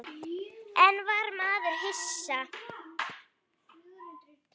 En var maður hissa?